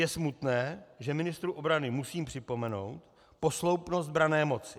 Je smutné, že ministru obrany musím připomenout posloupnost branné moci.